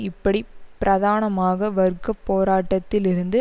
இப்படி பிரதானமாக வர்க்க போராட்டத்தில் இருந்து